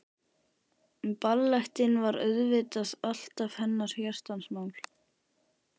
En ballettinn var auðvitað alltaf hennar hjartans mál.